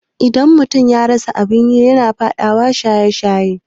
Idan mutum ya rasa abin yi yana faɗawa shaye-shaye